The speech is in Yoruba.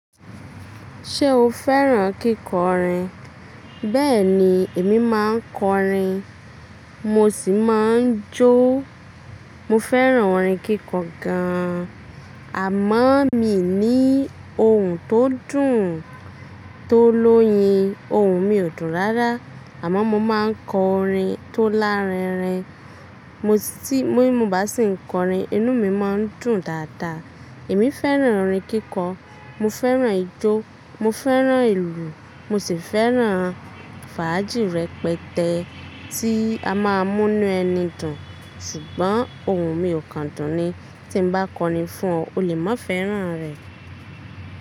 Ṣé o fẹ́ràn kíkọrin? Bẹ́ẹ̀ ni, èmi máa ń kọrin, mo sì máa ń jó. Mo fẹ́ràn orin kíkọ gan-an. Àmọ́ mi ní ohùn tó dùn tó lóyin. Ohùn mi ò dùn rárá, àmọ́ mo máa ń kọ orin tó larinrin. Mo bá sì ń kọrin, inú mi máa ń dùn dáadáa. Èmi fẹ́ràn orin kíkọ, mo fẹ́ràn ijó, mo fẹ́ràn ìlù, mo sì fẹ́ràn fàájì rẹpẹtẹ tí a máa ń mú inú ẹni dùn. Ṣùgbọ́n ohùn mi kò dùn ni. Tí mo bá kọrin fún ọ, o lè má fẹ́ràn rẹ̀.